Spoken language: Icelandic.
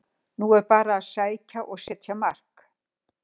Nú er bara að sækja og setja mark!